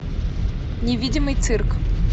невидимый цирк